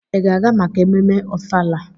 Ị ga-aga maka ememme ofala?